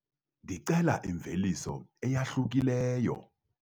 Ndicela imveliso eyahlukileyo.